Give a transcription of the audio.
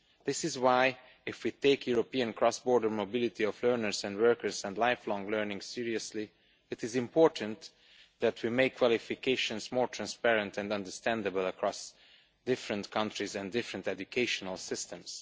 This is why, if we take European cross border mobility of learners and workers and lifelong learning seriously, it is important that we make qualifications more transparent and understandable across different countries and different educational systems.